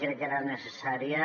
crec que era necessària